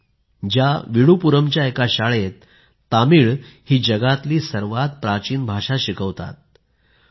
के आहे ज्या विडुपुरमच्या एका शाळेत जगातील सर्वात प्राचीन भाषा तामिळ शिकवतात